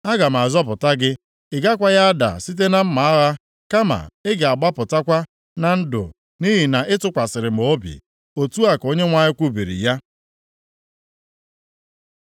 Aga m azọpụta gị. Ị gakwaghị ada site na mma agha kama ị ga-agbapụkwa na ndụ, nʼihi na ị tụkwasịrị m obi.’ ” Otu a ka Onyenwe anyị kwubiri ya.